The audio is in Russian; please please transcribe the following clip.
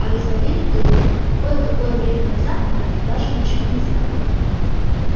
а ведь поверить трудно кое-какое время назад мы о них даже ничего не знали